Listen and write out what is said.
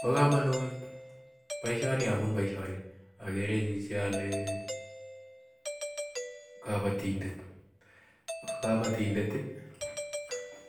pakamunit paishoni amun paishoni , agere chichi ale kapatindet ko kapatindet ii